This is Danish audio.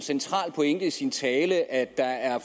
central pointe i sin tale at der er